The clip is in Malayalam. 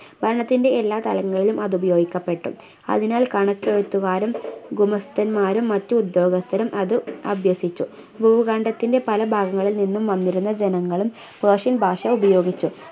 ഭരണത്തിൻ്റെ എല്ലാ തലങ്ങളിലും അത് ഉപയോഗിക്കപ്പെട്ടു അതിനാൽ കണക്കെഴുത്തുകാരും ഗുമസ്ഥന്മാരും മറ്റു ഉദ്യോഗസ്ഥരും അത് അഭ്യസിച്ചു ഭൂഖണ്ഡത്തിൻ്റെ പല ഭാഗങ്ങളിൽ നിന്നും വന്നിരുന്ന ജനങ്ങളും persian ഭാഷ ഉപയോഗിച്ചു